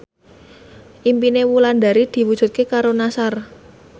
impine Wulandari diwujudke karo Nassar